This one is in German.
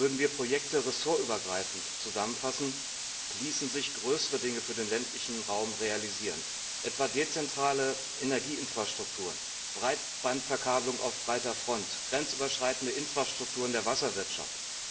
Würden wir Projekte ressortübergreifend zusammenfassen, ließen sich größere Dinge für den ländlichen Raum realisieren, etwa dezentrale Energieinfrastrukturen, Breitbandverkabelung auf breiter Front, grenzüberschreitende Infrastrukturen der Wasserwirtschaft.